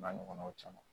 N'a ɲɔgɔnnaw caman